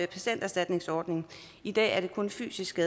patienterstatningsordningen i dag er det kun fysiske